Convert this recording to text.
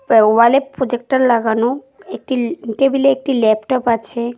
ওওয়ালে projector লাগানো একটিল টেবিলে একটি ল্যাপটপ আছে।